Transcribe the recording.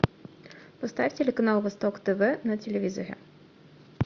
поставь телеканал восток тв на телевизоре